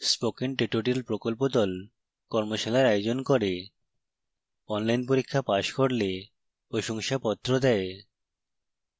spoken tutorial প্রকল্প the কর্মশালার আয়োজন করে